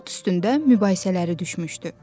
At üstündə mübahisələri düşmüşdü.